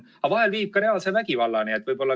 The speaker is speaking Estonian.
Vahel viib ka reaalse vägivallani.